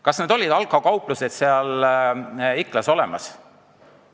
Kas olid need alkokauplused seal Iklas olemas?